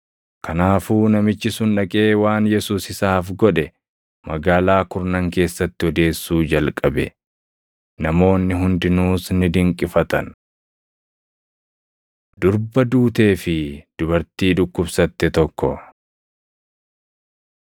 Kanaafuu namichi sun dhaqee waan Yesuus isaaf godhe Magaalaa Kurnan keessatti odeessuu jalqabe. Namoonni hundinuus ni dinqifatan. Durba Duutee fi Dubartii Dhukkubsatte Tokko 5:22‑43 kwf – Mat 9:18‑26; Luq 8:41‑56